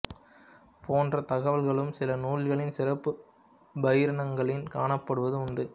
போன்ற தகவல்களும் சில நூல்களின் சிறப்புப் பாயிரங்களில் காணப்படுவது உண்டு